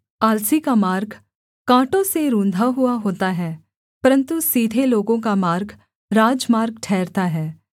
आलसी का मार्ग काँटों से रुन्धा हुआ होता है परन्तु सीधे लोगों का मार्ग राजमार्ग ठहरता है